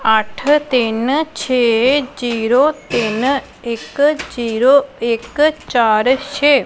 ਅੱਠ ਤਿੰਨ ਛੇ ਜੀਰੋ ਤਿੰਨ ਇੱਕ ਜੀਰੋ ਇੱਕ ਚਾਰ ਛੇ।